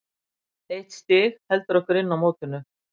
Eitt stig heldur okkur inn í mótinu.